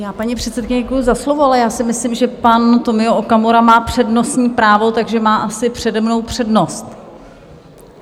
Já paní předsedkyni děkuju za slovo, ale já si myslím, že pan Tomio Okamura má přednostní právo, takže má asi přede mnou přednost.